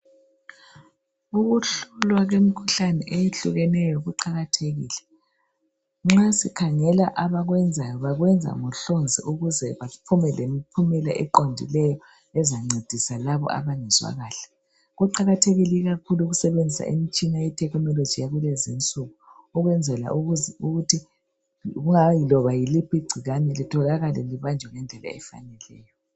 Ukuhlolwa kwemikhuhlane eyehlukeneyo kuqakathekile nxa sikhangela abakwenzayo bakwenzangohlonzi ukuze baphume lemphumela eqondileyo ezancedisa labo abangezwakahle kuqakathekile kakhulu ukusebenzisa imitshina ye technology yalezinsuku ukwenzela ukuthi loba yiliphi igcikwane litholakale libanjwe ngendlela efaneleyo